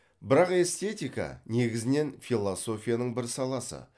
бірақ эстетика негізінен философияның бір саласы